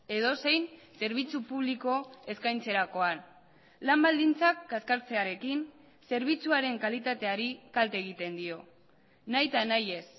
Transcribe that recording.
edozein zerbitzu publiko eskaintzerakoan lan baldintzak kaskartzearekin zerbitzuaren kalitateari kalte egiten dio nahita nahiez